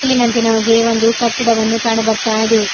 ಇಲ್ಲಿ ನಂತೆ ನಮಗೆ ಒಂದು ಕಟ್ಟಡವನ್ನು ಕಾಣ್ ಬರ್ತಾ ಇದೆ.